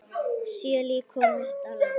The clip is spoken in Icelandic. Sjö lík komust á land.